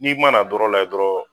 N'i mana dɔrɔ la yɛ dɔrɔ.